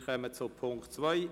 Wir kommen zum Punkt 2: